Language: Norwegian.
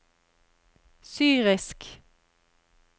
syrisk